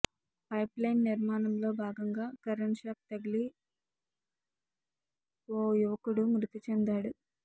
pipeline నిర్మాణంలో భాగంగా current shock తగిలి ఓ యువకుడు మృతిచెందాడు